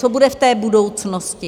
Co bude v té budoucnosti?